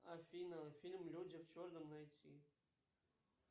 афина фильм люди в черном найти